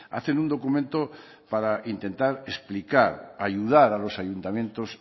hacen un documento para intentar explicar ayudar a los ayuntamientos